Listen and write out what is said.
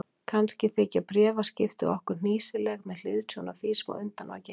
Kannski þykja bréfaskipti okkar hnýsileg með hliðsjón af því sem á undan var gengið.